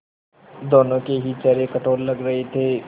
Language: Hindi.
दोनों के ही चेहरे कठोर लग रहे थे